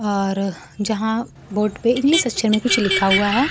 और जहां बोर्ड पे इंग्लिश अक्षर में कुछ लिखा हुआ है।